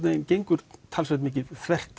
gengur talsvert mikið